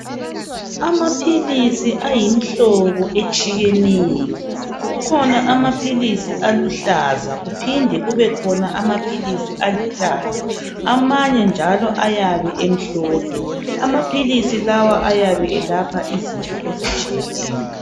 Amaphilisi ayimhlobo etshiyeneyo kukhona amaphilisi aluhlaza kuphinde kubekhona amaphilisi alithanga amanye njalo ayabe emhlophe amaphilisi lawa ayabe elapha izinto ezitshiyeneyo.